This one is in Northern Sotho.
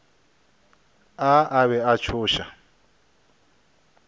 a a be a tšhoša